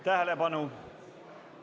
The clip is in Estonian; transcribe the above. Tähelepanu!